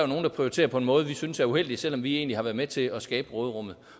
nogle der prioriterer på en måde som vi synes er uheldig selv om vi egentlig har været med til at skabe råderummet